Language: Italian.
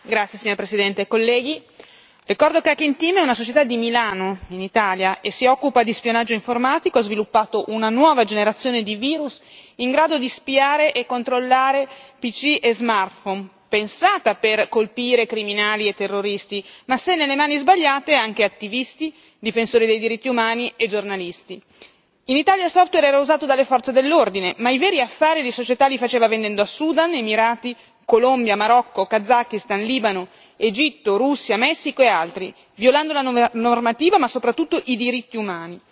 Signora Presidente, onorevoli colleghi, ricordo che Hacking Team è una società di Milano, in Italia, che si occupa di spionaggio informatico ed ha sviluppato una nuova generazione di virus in grado di spiare e controllare PC e smartphone, pensata per colpire criminali e terroristi ma, se nelle mani sbagliate, anche attivisti, difensori dei diritti umani e giornalisti. In Italia il software era usato dalle forze dell'ordine, ma i veri affari la società li faceva vendendo a Sudan, Emirati, Colombia, Marocco, Kazakhstan, Libano, Egitto, Russia, Messico e altri, violando la normativa, ma soprattutto i diritti umani.